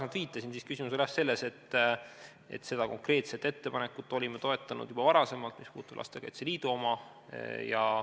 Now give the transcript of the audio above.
Nagu viitasin, siis küsimus oli jah selles, et seda konkreetset ettepanekut olime toetanud juba varem, see puudutab Lastekaitse Liidu ettepanekut.